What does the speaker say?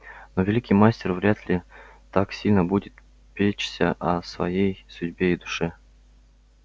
но великий мастер вряд ли так сильно будет печься о своей судьбе и душе